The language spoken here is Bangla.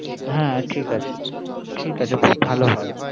হ্যা ঠিক আছে, ঠিক আছে খুব ভালো হয়